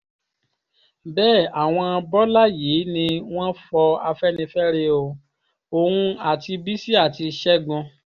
bẹ́ẹ̀ àwọn bọ́lá yìí ni wọ́n fọ afẹ́nifẹ́re o òun àti bísí àti ṣẹ́gun